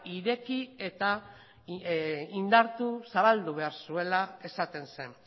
ireki eta indartu zabaldu behar zuela esaten zen